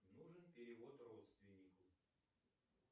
нужен перевод родственнику